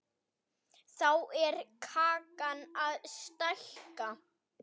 Þá er kakan að stækka.